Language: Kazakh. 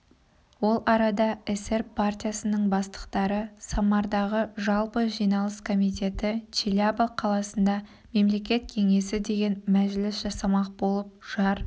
ол арада эсер партиясының бастықтары самардағы жалпы жиналыс комитеті челябі қаласында мемлекет кеңесі деген мәжіліс жасамақ болып жар